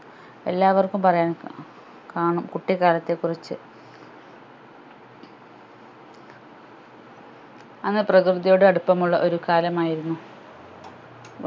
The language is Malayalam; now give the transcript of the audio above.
എല്ലാവർക്കും പറയാൻ ക കാണും കുട്ടികാലത്തെ കുറിച്ച് അന്ന് പ്രകൃതിയോട് അടുപ്പമുള്ള ഒരു കാലം ആയിരുന്നു